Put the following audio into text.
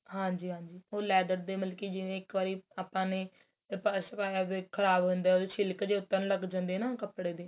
ਹਾਂਜੀ ਹਾਂਜੀ ਉਹ leather ਮਤਲਬ ਕੀ ਜਿਵੇਂ ਇੱਕ ਵਾਰੀ ਆਪਾਂ ਨੇ purse ਪਾਇਆ ਖਰਾਬ ਹੋ ਜਾਂਦੇ ਉਹਦੇ ਛਿਲਕੇ ਜੇ ਉਤਰਨ ਲੱਗ ਜਾਂਦੇ ਏ ਨਾ ਕਪੜੇ ਦੇ